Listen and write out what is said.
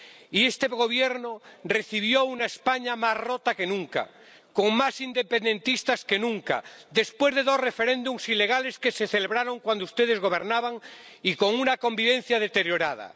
y este Gobierno recibió una España más rota que nunca, con más independentistas que nunca, después de dos referéndums ilegales que se celebraron cuando ustedes gobernaban y con una convivencia deteriorada.